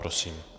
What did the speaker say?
Prosím.